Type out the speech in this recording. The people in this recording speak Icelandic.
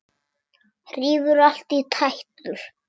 Rífur allt í tætlur.